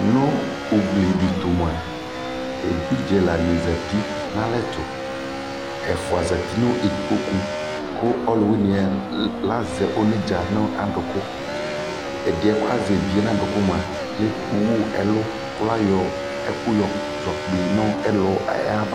Nʋ ugli dɩ tʋ mʋa, evidze ɛlanɩ zati nʋ alɛ tʋ Ɛfʋa zati nʋ ikpoku kʋ ɔlʋwɩnɩ yɛ azɛ onedzǝ nʋ adʋkʋ Ɛdɩ yɛ kʋ azɛ evidze yɛ nʋ adʋkʋ mʋa, ewu ɛlʋ kʋ ayɔ ɛkʋ yɔkpɩ nʋ ɛlʋ yɛ ava